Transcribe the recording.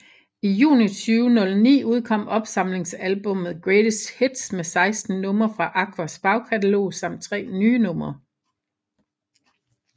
I juni 2009 udkom opsamlingsalbummet Greatest Hits med 16 numre fra Aquas bagkatalog samt tre nye numre